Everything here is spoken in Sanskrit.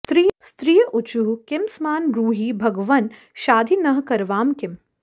स्त्रिय ऊचुः किमस्मान् ब्रूहि भगवन् शाधि नः करवाम किम्